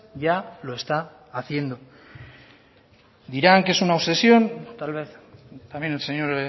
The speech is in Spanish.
ya lo está haciendo dirán que es una obsesión tal vez también el señor